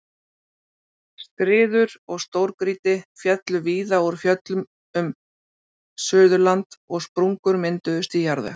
Skriður og stórgrýti féllu víða úr fjöllum um Suðurland og sprungur mynduðust í jarðveg.